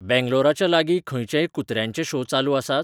बॅंगलोराच्या लागीं खंयचेय कुत्र्यांचे शो चालू आसात?